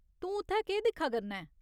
तूं उत्थै केह् दिक्खा करना ऐं ?